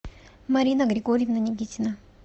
марина григорьевна никитина